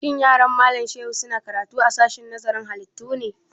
Shin yaran Malam Shehu su na karatu a sashen nazarin ƙananan halittu ne?